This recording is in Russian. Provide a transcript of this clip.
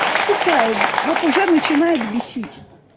сука вот уже начинает бесить